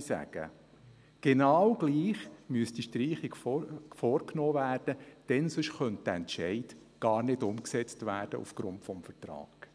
sagen würde, müsste die Streichung genau gleich vorgenommen werden, denn sonst könnte der Entscheid gar nicht umgesetzt werden aufgrund des Vertrags.